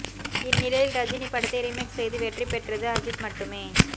இந்நிலையில் ரஜினி படத்தை ரீமேக் செய்து வெற்றி பெற்றது அஜித் மட்டுமே